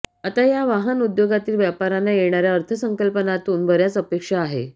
आता या वाहन उद्योगातील व्यापाऱ्यांना येणाऱ्या अर्थसंकल्पातून बऱ्याच अपेक्षा आहे